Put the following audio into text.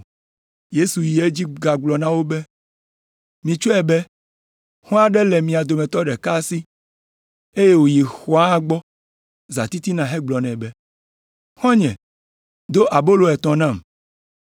Yesu yi edzi gagblɔ na wo be, “Mitsɔe be, xɔ̃ aɖe le mia dometɔ ɖeka si, eye woyi xɔ̃a gbɔ zãtitina hegblɔ nɛ be, ‘Xɔ̃nye do abolo etɔ̃ nam,